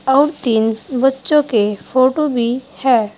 और तीन बच्चों के फोटो भी हैं।